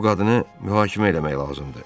Bu qadını mühakimə eləmək lazımdır.